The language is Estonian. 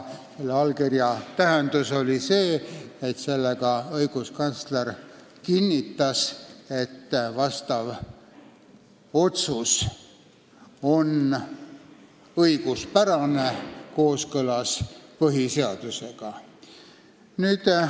Selle allkirja tähendus oli see: sellega õiguskantsler kinnitas, et otsus on õiguspärane, kooskõlas põhiseadusega.